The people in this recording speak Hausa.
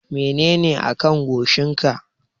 Menene a kan goshin ka?